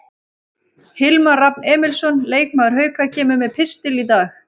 Hilmar Rafn Emilsson, leikmaður Hauka, kemur með pistil í dag.